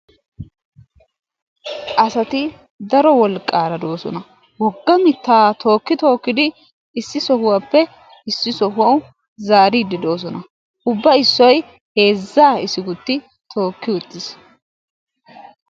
Asati daro wolqqaara de'oosona. wogga mittaa tookki tookkidi issi sohuwappe issi sohuwawu zaariiddi doosona. Ubba issoy heezzaa issigutti tooki uttis.